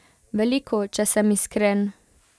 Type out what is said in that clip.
Veliko, če sem iskren.